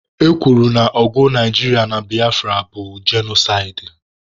E kwuru na ọgụ Naijiria na Biafra bụ genosaịdị.